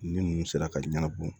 Ni ninnu sera ka ɲɛnabɔ